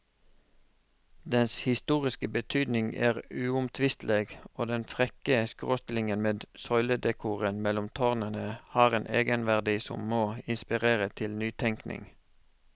Dens historiske betydning er uomtvistelig, og den frekke skråstillingen med søyledekoren mellom tårnene har en egenverdi som må inspirere til nytenkning.